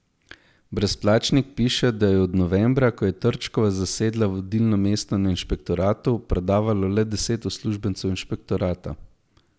Brezplačnik piše, da je od novembra, ko je Trčkova zasedla vodilno mesto na inšpektoratu, predavalo le deset uslužbencev inšpektorata.